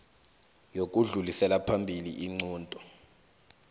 yokudlulisela phambili iinqunto